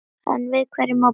Enn við hverju má búast?